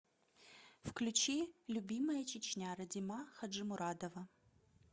включи любимая чечня радима хаджимурадова